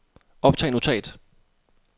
optag notat